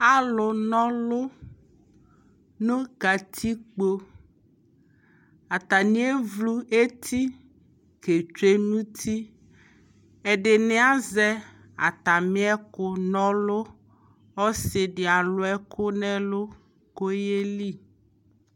alʋ nɔlʋ nʋ katikpɔ, atani ɛɣlʋ ɛti kɛ twɛ nʋ ʋti, ɛdini azɛ atami ɛkʋ nɔlʋ, ɔsii di alʋ ɛkʋ nʋ ɛlʋ kʋ ɔyɛli